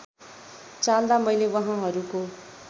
चाल्दा मैले वहाँहरूको